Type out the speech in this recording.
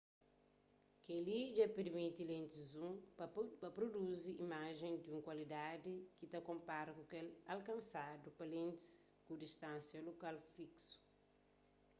kel-li dja permiti lentis zoom pa pruduzi imajens di un kualidadi ki ta konpara ku kel alkansadu pa lentis ku distánsia lokal fiksu